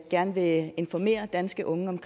gerne vil informere danske unge om